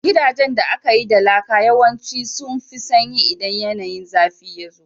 Gidajen da aka yi da laka yawanci sun fi sanyi idan yanayin zafi yazo